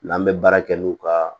N'an bɛ baara kɛ n'u ka